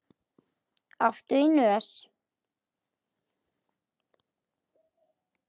Áttu í nös?